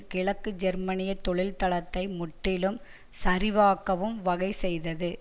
கிழக்கு ஜெர்மனிய தொழில்தளத்தை முற்றிலும் சரிவாக்கவும் வகை செய்தது